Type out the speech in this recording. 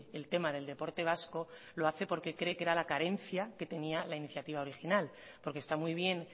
el tema del deporte vasco lo hace porque cree que era la carencia que tenía la iniciativa original porque está muy bien